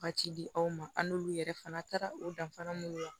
Ka ci di aw ma an n'olu yɛrɛ fana taara o danfara mun na